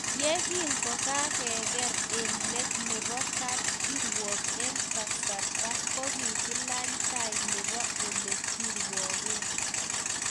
Ye kingokakeker eng let nebo kapkirwok eng kasarta kokikilany tai nebo Ole kirwoke